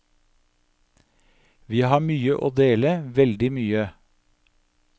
Vi har mye å dele, veldig mye.